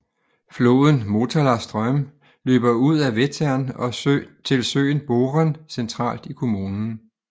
Floden Motala ström løber ud af Vättern og til søen Boren centralt i kommunen